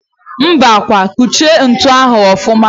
Mbakwa! Kuchie ntu ahụ ọfụma!